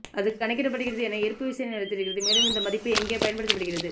அது கணக்கிடப்படுகிறது என்ன ஈர்ப்புவிசைத் நிலைத்திருக்கிறது மேலும் இந்த மதிப்பு எங்கே பயன்படுத்தப்படுகிறது